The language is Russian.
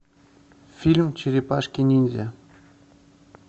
фильм черепашки ниндзя